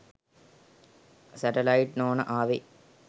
Satellite නෝන ආවෙ.